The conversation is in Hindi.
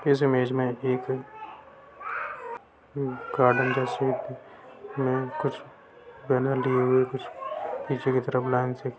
इस इमेज में एक गार्डन जैसी कुछ लगी है कुछ पीछे की लॉन्च है।